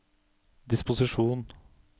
disposisjon